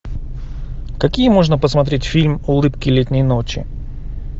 какие можно посмотреть фильм улыбки летней ночи